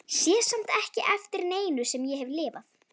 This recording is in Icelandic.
Emil horfði á eftir jeppanum og svo niðrað Húnaveri.